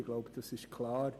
Ich glaube, das ist klar.